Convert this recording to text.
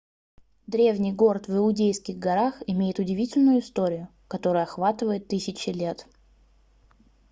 древний город в иудейских горах имеет удивительную историю которая охватывает тысячи лет